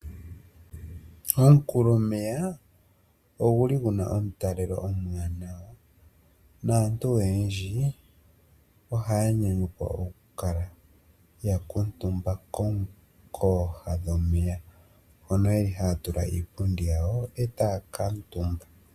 Omunkulomeya oguli guna omutalelo omuwanawa, naantu oyendji ohaya nyanyukwa okukala ya kuutumba kooha dhomeya, mono yeli yatula iipundi yawo e taya kala omutumba.